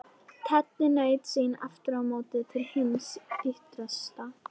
Teddi naut sín aftur á móti til hins ýtrasta.